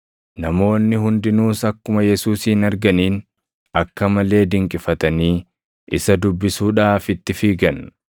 Namoonni hundinuus akkuma Yesuusin arganiin akka malee dinqifatanii isa dubbisuudhaaf itti fiigan.